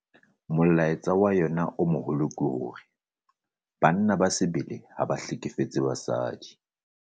Molaetsa wa yona o moholo ke hore 'Banna ba sebele ha ba hlekefetse basadi'.